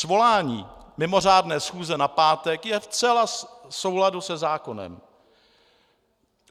Svolání mimořádné schůze na pátek je zcela v souladu se zákonem.